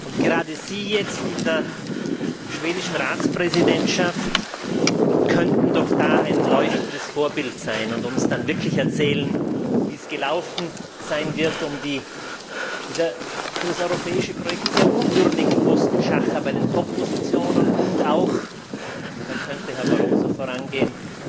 Und gerade Sie in der schwedischen Ratspräsidentschaft könnten doch da ein leuchtendes Vorbild sein und uns dann wirklich erzählen, wie es gelaufen sein wird bei dem für das europäische Projekt sehr unwürdigen Postenschacher um die Top Positionen und auch da könnte Herr Barroso vorangehen